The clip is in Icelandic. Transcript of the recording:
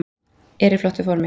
Er í flottu formi.